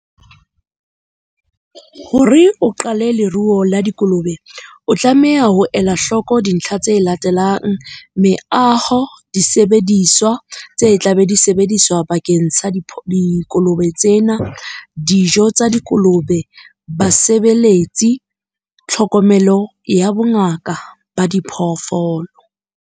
Hore o qale leruo la dikolobe, o tlameha ho ela hloko dintlha tse latelang, meaho, disebediswa tse tlabe di sebediswa bakeng sa dikolobe tsena, dijo tsa dikolobe, basebeletsi, tlhokomelo ya bongaka ba diphoofolo.